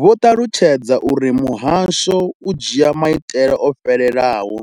Vho ṱalutshedza uri muhasho u dzhia maitele o fhelelaho